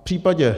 V případě,